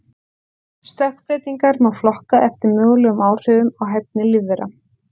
Stökkbreytingar má flokka eftir mögulegum áhrifum á hæfni lífvera.